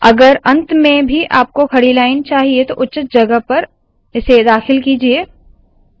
अगर अंत में भी आपको खड़ी लाइन चाहिए उचित जगह पर दाखिल कीजिये